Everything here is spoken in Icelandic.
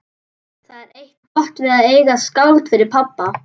Það er eitt gott við að eiga skáld fyrir pabba.